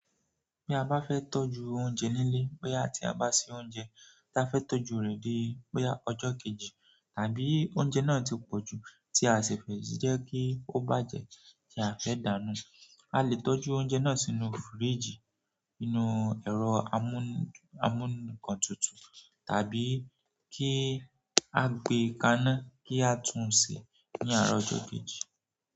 Bí a bá fẹ́ tọ́jú oúnjẹ nílé, bóyá tí a bá se oúnjẹ tí a fẹ́ tọ́jú rẹ̀ di bóyá ọjọ́ kejì, tàbí oúnjẹ náà ti pọ̀jù tí a o sì fẹ́ jẹ́ kí ó bàjẹ́ tí a o fẹ́ dànù ú, a lè tọ́jú oúnjẹ náà sínú fíríjì, nínú ẹ̀rọ amún-amúnǹkan tutù tàbí kí a gbé e kaná kí a tún sè é ní àárọ̀ ọjọ́ kejì.